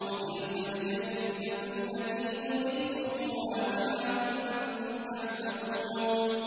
وَتِلْكَ الْجَنَّةُ الَّتِي أُورِثْتُمُوهَا بِمَا كُنتُمْ تَعْمَلُونَ